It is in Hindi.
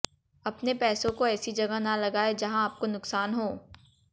अपने पैसों को ऐसी जगह ना लागाएं जहां आपको नुकसान हो